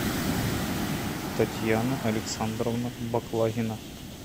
татьяна александровна баклагина